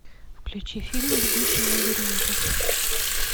включи фильм бегущий в лабиринте